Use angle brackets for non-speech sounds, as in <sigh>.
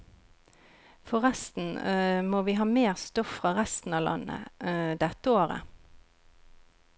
Forresten <hesitation> må vi ha mer stoff fra resten av landet, <hesitation> dette året.